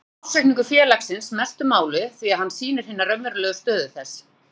Þá skiptir ársreikningur félagsins mestu máli því að hann sýnir hina raunverulegu stöðu þess.